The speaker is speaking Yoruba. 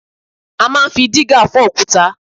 A máa ń fi dígà fọ òkúta